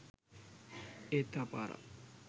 ඒත් තව පාරක්